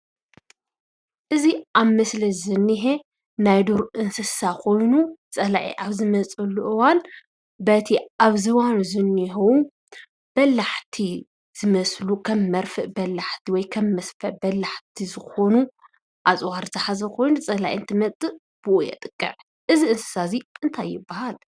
እዚ ኣብ ምስሊ ዝነሄ ናይ ዱር እንስሳ ኮይኑ ፀላኢ ኣብ ዝመፀሉ እዋን በቲ ኣብ ዝባኑ ዝነሄዉ በላሕቲ ዝመስሉ ከም መርፍእ ባላሕቲ ወይ ከም መስፈ በላሕቲ ዝኮኑ ኣፅዋር ዝሓዘ ኮይኑ ፀላኢ እንትመፅእ ብኡ የጥቅዕ፡፡ እዚ እንስሳ እዚ እንታይ ይባሃል?